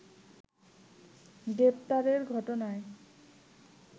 গ্রেফতারের ঘটনায়